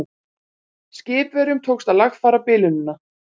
Skipverjum tókst að lagfæra bilunina